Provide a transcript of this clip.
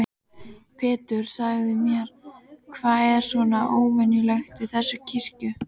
Pétur, segðu mér, hvað er svona óvenjulegt við þessa kirkju?